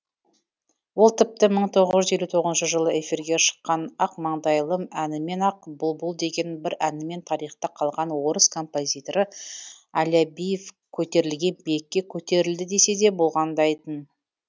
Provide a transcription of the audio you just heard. ол тіпті бір мың тоғыз жүз елу тоғызыншы жылы эфирге шыққан ақмаңдайлым әнімен ақ бұлбұл деген бір әнімен тарихта қалған орыс композиторы алябьев көтерілген биікке көтерілді десе де болғандай тын